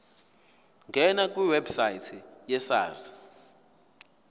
ngena kwiwebsite yesars